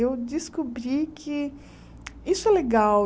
Eu descobri que isso é legal.